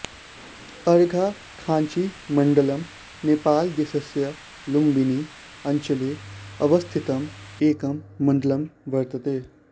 अर्घाखाँचीमण्डलम् नेपालदेशस्य लुम्बिनी अञ्चले अवस्थितं एकं मण्डलं वर्तते